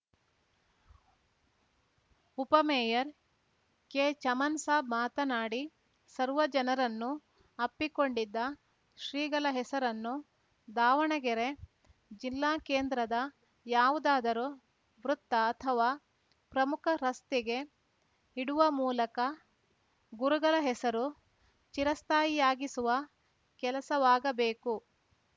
ಉಪ ಮೇಯರ್‌ ಕೆಚಮನ್‌ ಸಾಬ್‌ ಮಾತನಾಡಿ ಸರ್ವ ಜನರನ್ನೂ ಅಪ್ಪಿಕೊಂಡಿದ್ದ ಶ್ರೀಗಳ ಹೆಸರನ್ನು ದಾವಣಗೆರೆ ಜಿಲ್ಲಾ ಕೇಂದ್ರದ ಯಾವುದಾದರೂ ವೃತ್ತ ಅಥವಾ ಪ್ರಮುಖ ರಸ್ತೆಗೆ ಇಡುವ ಮೂಲಕ ಗುರುಗಳ ಹೆಸರು ಚಿರಸ್ಥಾಯಿಯಾಗಿಸುವ ಕೆಲಸವಾಗಬೇಕು